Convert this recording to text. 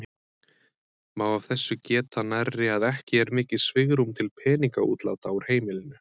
Má af þessu geta nærri að ekki er mikið svigrúm til peningaútláta úr heimilinu.